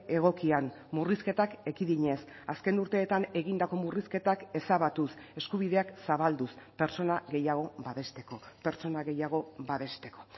egokian murrizketak ekidinez azken urteetan egindako murrizketak ezabatuz eskubideak zabalduz pertsona gehiago babesteko pertsona gehiago babesteko